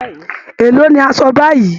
Èló ni aṣọ báyìí!